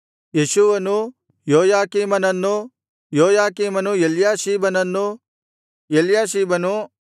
ಯೇಷೂವನು ಯೋಯಾಕೀಮನನ್ನೂ ಯೋಯಾಕೀಮನ ಎಲ್ಯಾಷೀಬನನ್ನೂ ಎಲ್ಯಾಷೀಬನು ಯೋಯಾದನನ್ನೂ